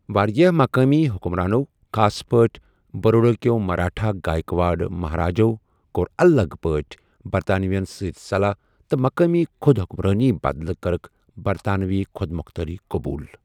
وارِیاہ مقٲمی حكمرانو ، خاص پٲٹھۍ بروڈا ہكہِ مراٹھا گایكواڈ مہاراجو كور الگ پٲٹھۍ برطانوین سۭتۍ صلاح تہٕ مقامی خو٘د حكمرٲنی بدلہٕ كرٕكھ برطانوی خو٘د موختٲری قبوٗل ۔